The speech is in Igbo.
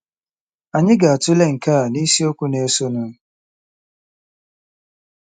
Anyị ga-atụle nke a n’isiokwu na-esonụ.